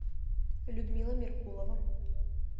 людмила меркулова